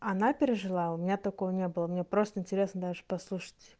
она пережила у меня такого не было мне просто интересно даже послушать